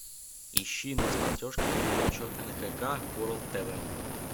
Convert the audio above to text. ищи на смотрешке передачу нхк ворлд тв